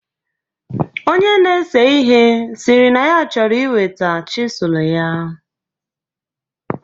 Onye na-ese ihe sịrị na ya chọrọ iweta chisụl ya.